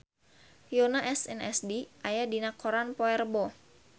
Yoona SNSD aya dina koran poe Rebo